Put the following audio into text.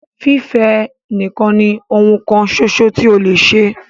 Fífẹ́ ẹ nìkan ní oun kan ṣoṣo tí o lè ṣe!